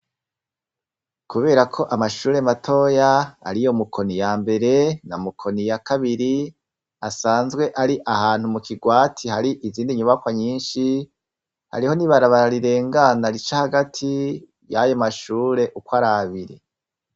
kubera ko amashure matoya ari yo mukoni ya mbere na mukoni ya kabiri asanzwe ari ahantu mu kigwati hari izindi nyubakwa nyinshi hariho nibarabara rirengana rica hagati ry'ayo mashure uko arabiri.